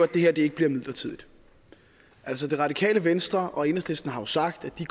det her ikke bliver midlertidigt altså det radikale venstre og enhedslisten har jo sagt at de